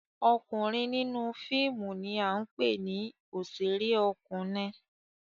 Ọkunrin ninu fiimu ni a npe ni oṣere ọkunein